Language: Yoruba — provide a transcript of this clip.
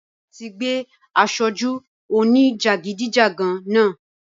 Ọlọ́pa tí gbé asoju òní jagidijagan náà